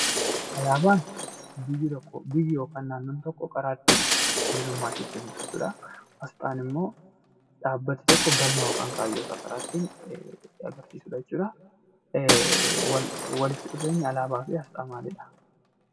Alaabaan biyyi tokko yookiin naannoon tokko karaa ibsamtu jechuudha. Asxaan immoo dhaabbanni tokko galma yookiin kaayyoo isaa karaa ittiin agarsiisudha jechuudha. Walitti dhufeenyi alaabaa fi asxaa maalidhaa?